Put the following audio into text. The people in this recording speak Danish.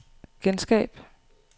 genskab